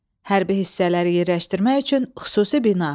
Hərbi hissələri yerləşdirmək üçün xüsusi bina.